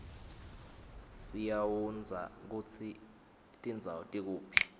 siaundza kutsi tindzawo tikuphi